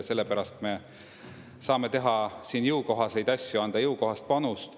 Sellepärast me saame teha jõukohaseid asju, anda jõukohast panust.